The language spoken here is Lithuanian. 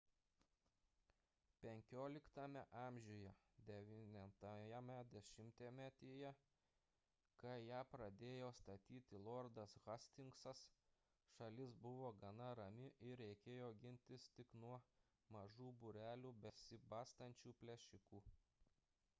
xv a 9-ajame dešimtmetyje kai ją pradėjo statyti lordas hastingsas šalis buvo gana rami ir reikėjo gintis tik nuo mažų būrelių besibastančių plėšikų